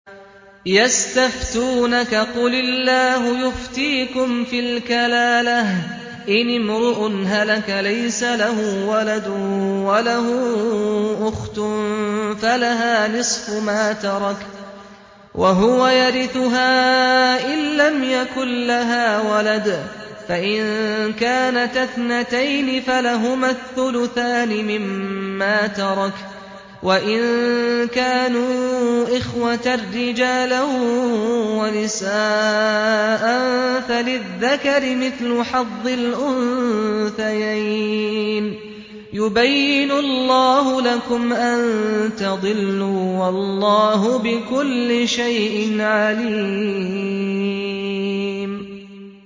يَسْتَفْتُونَكَ قُلِ اللَّهُ يُفْتِيكُمْ فِي الْكَلَالَةِ ۚ إِنِ امْرُؤٌ هَلَكَ لَيْسَ لَهُ وَلَدٌ وَلَهُ أُخْتٌ فَلَهَا نِصْفُ مَا تَرَكَ ۚ وَهُوَ يَرِثُهَا إِن لَّمْ يَكُن لَّهَا وَلَدٌ ۚ فَإِن كَانَتَا اثْنَتَيْنِ فَلَهُمَا الثُّلُثَانِ مِمَّا تَرَكَ ۚ وَإِن كَانُوا إِخْوَةً رِّجَالًا وَنِسَاءً فَلِلذَّكَرِ مِثْلُ حَظِّ الْأُنثَيَيْنِ ۗ يُبَيِّنُ اللَّهُ لَكُمْ أَن تَضِلُّوا ۗ وَاللَّهُ بِكُلِّ شَيْءٍ عَلِيمٌ